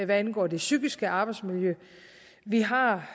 hvad angår det psykiske arbejdsmiljø vi har